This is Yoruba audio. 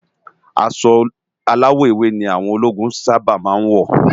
Aṣọ áláwò éwé ni áwòn ólógún sàbá má n wó